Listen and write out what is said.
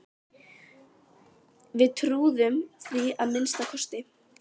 Við trúðum því að minnsta kosti.